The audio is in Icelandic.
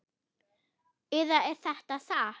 Eða er þetta satt?